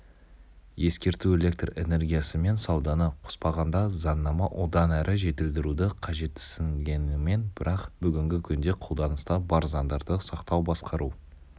ескерту электр энергиясымен сауданы қоспағанда заңнама одан әрі жетілдіруді қажетсінгенімен бірақ бүгінгі күнде қолданыста бар заңдарды сақтау басқару